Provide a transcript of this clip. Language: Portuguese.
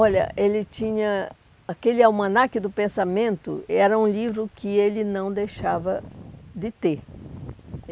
Olha, ele tinha... Aquele Almanac do Pensamento era um livro que ele não deixava de ter.